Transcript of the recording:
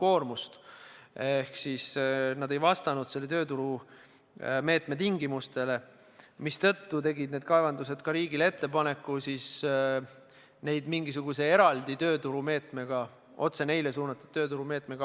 Seega nad ei vastanud selle tööturumeetme tingimustele ja nii tegid need kaevandused riigile ettepaneku neid toetada eraldi tööturumeetmega, mis oleks otse neile suunatud.